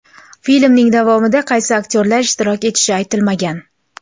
Filmning davomida qaysi aktyorlar ishtirok etishi aytilmagan.